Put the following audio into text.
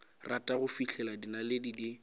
rata go fihlela dinaledi di